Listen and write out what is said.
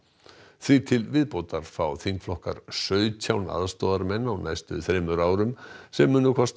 því til viðbótar fá þingflokkar sautján aðstoðarmenn á næstu þremur árum sem munu kosta